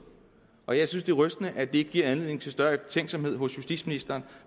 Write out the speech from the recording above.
og jeg synes det er rystende at det ikke giver anledning til større eftertænksomhed hos justitsministeren